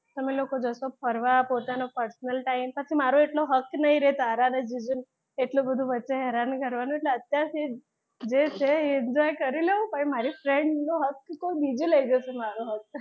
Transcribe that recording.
તમે લોકો જશો ફરવા પોતાનો personal time પછી મારો એટલો હક નહી રે તારા અને જીજુ વચ્ચે એટલું બધુ હેરાન કરવાનું અત્યારે જે છે યે enjoy કરી લ્યો પછી મારી friend નો હક જીજુ લઈ જશે મારો હક.